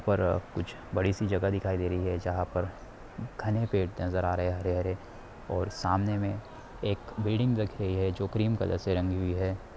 और यहाँ पर कुछ बड़ी-सी जगह दिखाई दे रही है जहाँ पर घने पेड़ नजर आ रहे है हरे-हरे और सामने में एक बिल्डिंग दिख रही है जो क्रीम कलर से रंगी हुई है ।